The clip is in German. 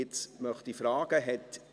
Nun möchte ich fragen: